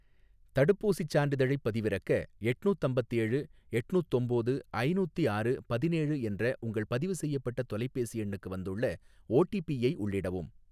தடுப்பூசிச் சான்றிதழைப் பதிவிறக்க, எட்நூத்தம்பத்தேழு எட்நூத்தொம்போது ஐநூத்தி ஆறு பதினேழு என்ற உங்கள் பதிவு செய்யப்பட்ட தொலைபேசி எண்ணுக்கு வந்துள்ள ஓடிபி ஐ உள்ளிடவும்.